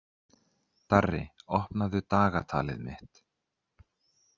Darri, opnaðu dagatalið mitt.